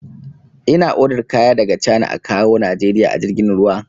Ina odar kaya daga cana a kawwo najeriya a jirgin ruwa